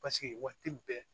Paseke waati bɛɛ